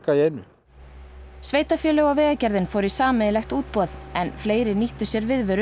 í einu sveitarfélög og Vegagerðin fóru í sameiginlegt útboð en fleiri nýttu sér viðveru